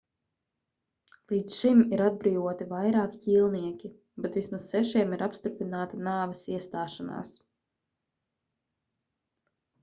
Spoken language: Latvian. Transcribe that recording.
līdz šim ir atbrīvoti vairāki ķīlnieki bet vismaz sešiem ir apstiprināta nāves iestāšanās